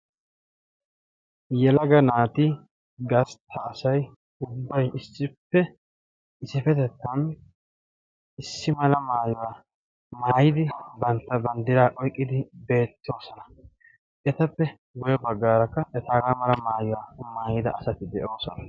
Yelaga naati gasitaasay hubbay issippe isipetettan issi mala maayiwaa maayidi bantta banddira oiqqidi beettoosona etappe guye baggaarakka etaagaa mala maayiwaa maayida asatti de'oosona.